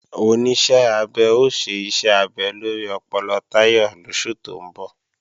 Oníṣẹ́ abẹ ó ṣe iṣẹ́ abẹ lórí ọpọlọ Táyọ̀ lóṣù tó ń bọ̀